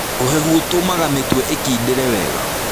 Ũhehu ũtũmaga mĩtwe ĩkindĩre wega.